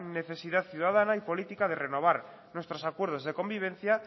necesidad ciudadana y política de renovar nuestros acuerdos de convivencia